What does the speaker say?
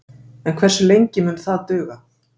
En hversu lengi mun það duga?